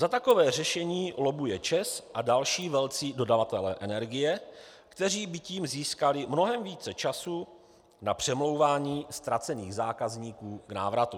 Za takové řešení lobbuje ČEZ a další velcí dodavatelé energie, kteří by tím získali mnohem více času na přemlouvání ztracených zákazníků k návratu.